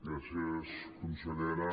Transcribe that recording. gràcies consellera